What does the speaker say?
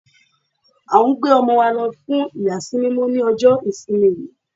À ń gbé ọmọ wa lọ fún ìyà sí mímọ́ ní ọjọ́ ìsinmi yìí.